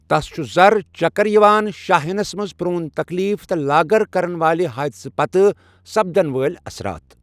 تس چُھ زر، چکر یِوان، شاہ ہینس منز پرون تکلیٖف تہٕ لاگر كرن والہِ حٲدثٕكہِ پتہٕ سپدن وٲلۍ اسرات ۔